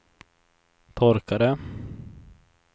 torkare